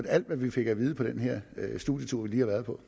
alt hvad vi fik at vide på den her studietur vi lige har været på